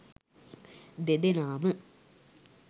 දෙදෙනාම